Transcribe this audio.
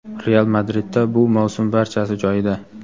"Real" Madridda bu mavsum barchasi joyida.